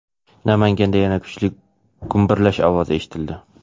Namanganda yana kuchli gumburlash ovozi eshitildi.